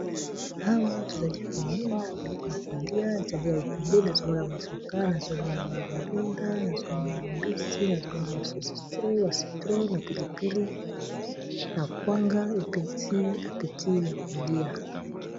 Awa tozali komona biloko ya kolia ezali ebele nazo mona ba avocat, nazo mona ba ndunda, nazo mona mbisi, nazo mona ba saucisson, ba citron, na pili pili, na kwanga, epesi appétit ya kolia.